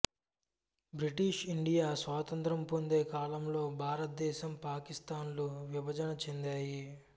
British India స్వాతంత్ర్యం పొందే కాలంలో భారతదేశం పాకిస్తాన్ లు విభజన చెందాయి